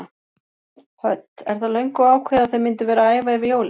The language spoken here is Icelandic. Hödd: Er það löngu ákveðið að þið mynduð vera að æfa yfir jólin?